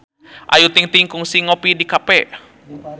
Ayu Ting-ting kungsi ngopi di cafe